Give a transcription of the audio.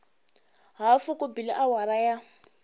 hafu ku bile awara ya